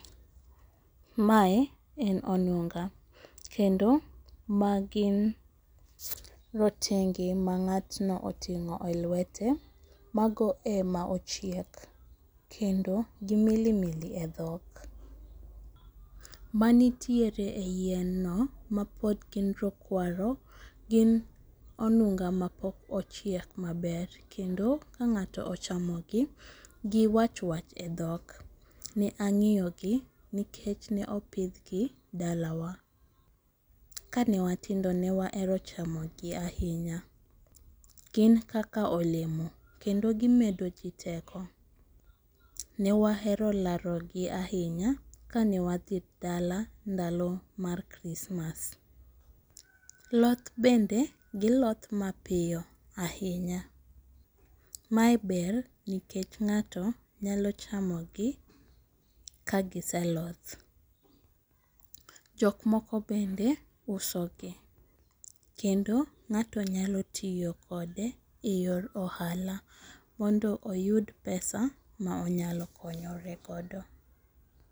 Mae en onunga, kendo magin rotenge mang'atno oting'e e lwete mago ema ochiek, kendo gimili mili e dhok. Manitiere e yien no mapod gin rokwaro gin onunga mapok ochiek maber, kendo ka ng'ato ochamogi giwach wach e dhok. Ne ang'eyogi, nikech neopidhgi dalawa, kanewatindo newahero chamogi ahinya. Gin kaka olemo kendo gimedo jii teko, newahero larogi ahinya kanewadhi dala ndalo mar krismas. Lodh bende, gilodh mapiyo ahinya, mae ber nikech ng'ato nyalo chamogi kagiseloth. Jokmoko bende usogi, kendo ng'ato nyalo tiyo kode e yor ohala, mondo oyud pesa maonyalo konyore godo.